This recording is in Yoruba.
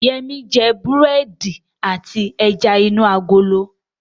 Yẹmí jẹ búrẹ́dì àti ẹja inú agolo